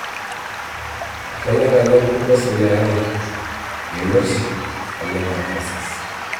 Kenyor naleng Kupes le are, yioloti naleng aa karsis.